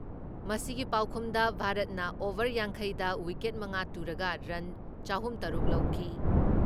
ꯃꯁꯤꯒꯤ ꯄꯥꯎꯈꯨꯝꯗ ꯚꯥꯔꯠꯅ ꯑꯣꯚꯔ ꯌꯥꯡꯈꯩꯗ ꯋꯤꯀꯦꯠ ꯃꯉꯥ ꯇꯨꯔꯒ ꯔꯟ ꯆꯍꯨꯝ ꯇꯔꯨꯛ ꯂꯧꯈꯤ ꯫